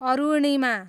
Arunima